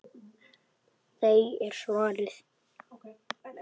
Nei er svarið.